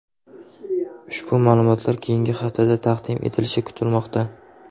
Ushbu ma’lumotlar keyingi haftada taqdim etilishi kutilmoqda.